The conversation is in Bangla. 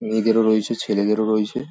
মেয়েদেরও রয়েছে ছেলেদেরও রয়েছে ।